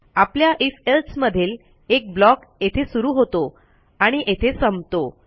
आपल्या if else मधील एक ब्लॉक येथे सुरू होतो आणि येथे संपतो